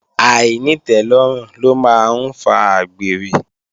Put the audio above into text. Àìnítẹ́lọ́rùn ló máa ń fa àgbèrè